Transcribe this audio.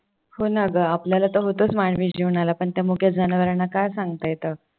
हो ना ग आपल्याला तर होतच मानवी जीवनाला पण त्या मुक्या जनावरांना काय सांगता येत?